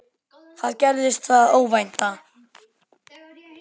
Þá gerðist það óvænta.